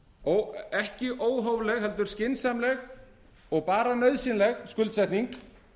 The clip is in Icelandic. og ekki óhófleg heldur skynsamleg og nauðsynleg skuldsetning